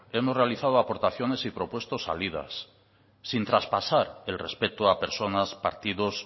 hemos realizado aportaciones y propuesto salidas sin traspasar el respeto a personas partidos